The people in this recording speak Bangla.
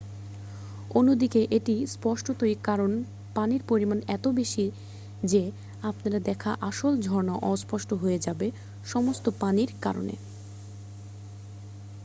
অন্যদিকে এটি স্পষ্টতই কারণ পানির পরিমাণ এত বেশি যে আপনার দেখা আসল ঝর্না অস্পষ্ট হয়ে যাবে-সমস্ত পানির কারনে